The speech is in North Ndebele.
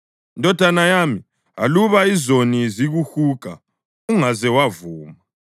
Ndodana yami, aluba izoni zikuhuga, ungaze wavuma.